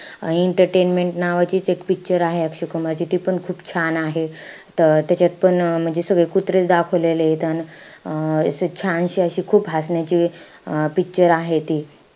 Entertainment नावाचीचं एक picture आहे अक्षय कुमारची. ती पण खूप छान आहे. त त्याच्यातंपण अं म्हणजे सगळे कुत्रेचं दाखवलेलेत. अन अं असं छानशी अशी खूप हसण्याची अं picture आहे ती.